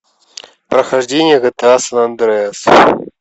прохождение гта сан андреас